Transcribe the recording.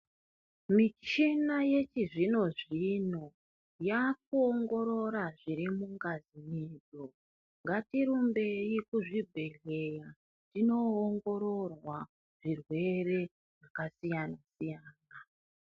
Michina ye chizvino zvino yaku ongorora zviri mungazi medu ngati rumbei ku zvibhedhleya tinongororwa zvirwere zvaka siyana siyana.